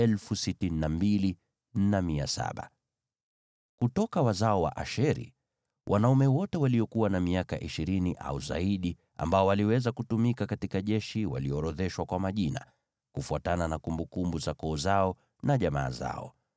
Kutoka wazao wa Asheri: Wanaume wote waliokuwa na miaka ishirini au zaidi ambao waliweza kutumika katika jeshi waliorodheshwa kwa majina, kufuatana na kumbukumbu za koo zao na jamaa zao.